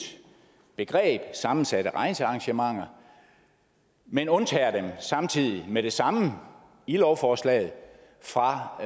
begreb sammensatte rejsearrangementer men undtager dem samtidig med det samme i lovforslaget fra